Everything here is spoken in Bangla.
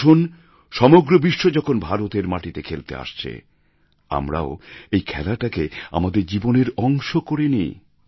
আসুন সমগ্র বিশ্ব যখন ভারতের মাটিতে খেলতে আসছে আমরাও এই খেলাটাকে আমাদের জীবনের অংশ করে নিই